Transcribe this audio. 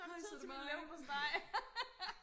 har I tid til min leverpostej